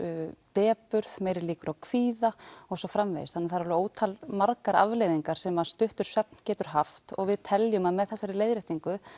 depurð meiri líkur á kvíða og svo framvegis þannig að það eru alveg ótal margar afleiðingar sem að stuttur svefn getur haft og við teljum að með þessari leiðréttingu